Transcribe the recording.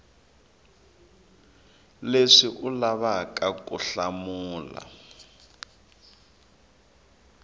leswi u lavaka ku hlamula